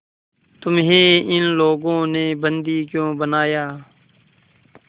तुम्हें इन लोगों ने बंदी क्यों बनाया